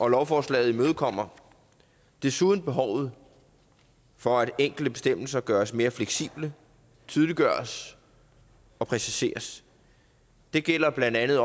lovforslaget imødekommer desuden behovet for at enkelte bestemmelser gøres mere fleksible tydeliggøres og præciseres det gælder blandt andet